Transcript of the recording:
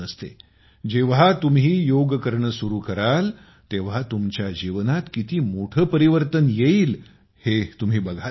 तुम्ही जेव्हा योग करणे सुरु कराल तेव्हा तुमच्या जीवनात किती मोठे परिवर्तन येईल ते तुम्ही बघालच